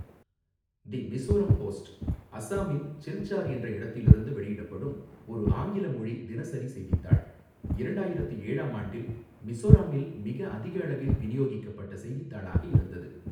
தி Mizoram Post, அஸ்ஸாமின் சில்சார் என்ற இடத்தில் இருந்து வெளியிடப்படும் ஒரு ஆங்கில மொழி தினசரி செய்தித்தாள், இரண்டாயிரத்து ஏழாம் ஆண்டில் மிஸோராம்மில் மிக அதிக அளவில் விநியோகிக்கப்பட்ட செய்தித்தாளாக இருந்தது.